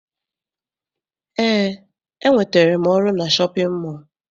Eé, enwetere m ọrụ na shọpịn mọọ.